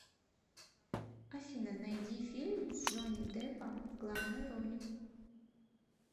афина найди фильм с джони деппом в главной роли